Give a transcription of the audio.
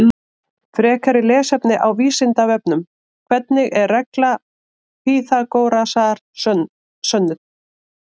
Frekara lesefni á Vísindavefnum: Hvernig er regla Pýþagórasar sönnuð?